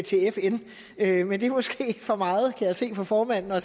til fn men det er måske for meget kan jeg se på formanden at